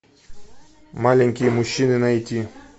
маленькие мужчины найти